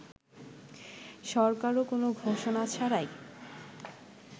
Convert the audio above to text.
সরকারও কোন ঘোষণা ছাড়াই